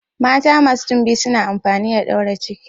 Mata masu timbi suna amfani da daure ciki.